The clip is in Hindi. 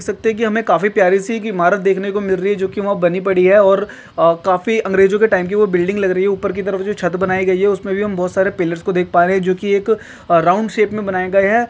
सकते है हमे काफी प्यारी सी एक इमारत देखने को मिल रही जो की वह बनी पड़ी है और काफी अंग्रेजो के टाइम की वो बिल्डिंग लग रही है ऊपर की तरफ जो छत बनाई गयी है उसमे भी हम पीलर्स को देख पा रहे है जो की एक राउंड शेप मे बनाए गए है।